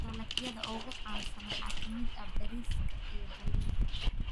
Dalagyada ugu caansan waxaa ka mid ah bariiska iyo galleyda.